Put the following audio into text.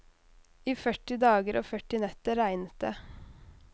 I førti dager og førti netter regnet det.